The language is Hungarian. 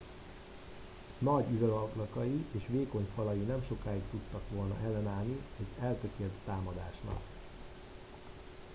nagy üvegablakai és vékony falai nem sokáig tudtak volna ellenállni egy eltökélt támadásnak